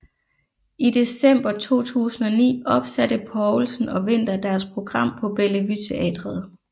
I december 2009 opsatte Poulsen og Winther deres program på Bellevue Teatret